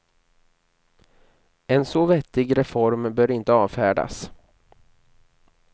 En så vettig reform bör inte avfärdas.